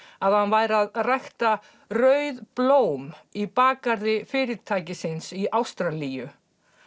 að hann væri að rækta rauð blóm í bakgarði fyrirtækisins í Ástralíu